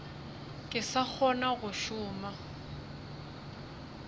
ke sa kgona go šoma